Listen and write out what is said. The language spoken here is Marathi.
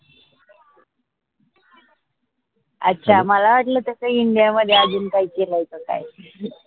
अच्छा माला वाटल त्याच india मध्ये अजून काई केलय का काय